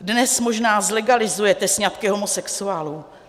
Dnes možná zlegalizujete sňatky homosexuálů.